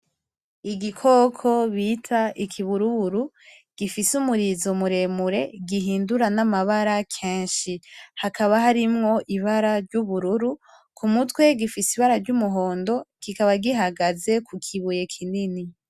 Igikoko bita ikiburuburu gifise umurizo muremure gihindura n'amabara kenshi. Hakaba harimwo ibara ry'ubururu k'umutwe gifise ibara ry'umuhondo, kikaba gihagaze ku kibuye kinini.